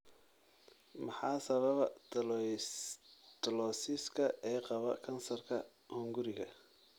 Maxaa sababa Tylosiska ee qaba kansarka hunguriga?